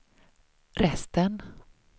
resten